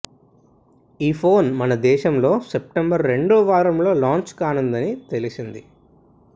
ఈ ఫోన్ మనదేశంలో సెప్టెంబర్ రెండో వారంలో లాంచ్ కానుందని తెలిసింది